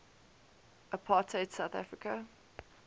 apartheid south africa